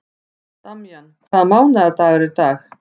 Damjan, hvaða mánaðardagur er í dag?